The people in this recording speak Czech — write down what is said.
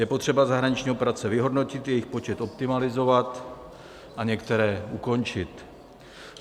Je potřeba zahraniční operace vyhodnotit, jejich počet optimalizovat a některé ukončit.